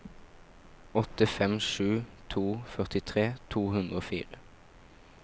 åtte fem sju to førtitre to hundre og fire